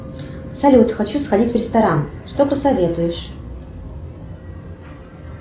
салют хочу сходить в ресторан что посоветуешь